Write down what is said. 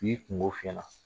K'i kunko f'i ɲɛna.